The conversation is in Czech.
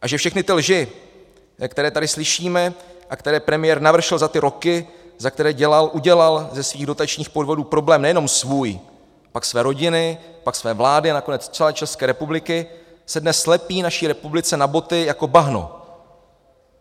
A že všechny ty lži, které tady slyšíme a které premiér navršil za ty roky, za které udělal ze svých dotačních podvodů problém nejenom svůj, pak své rodiny, pak své vlády a nakonec celé České republiky, se dnes lepí naší republice na boty jako bahno.